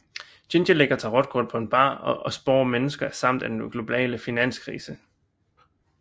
Ginger lægger tarotkort på en bar og spår mennesker ramt af den globale finanskrise